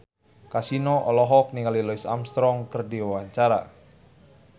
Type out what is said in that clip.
Kasino olohok ningali Louis Armstrong keur diwawancara